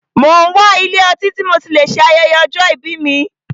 Mo n wá ilé ọtí tí mo tí lè ṣe ayẹyẹ ọjọ́ ìbí mí.